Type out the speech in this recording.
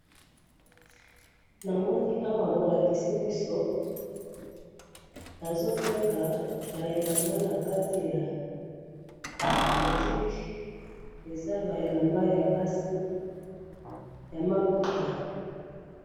Awa balakisi biso boutique, bazo teka bilamba ya basi ya ma puta.